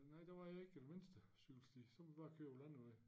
Nej der var ikke den mindste cykelsti så må vi bare køre på landevej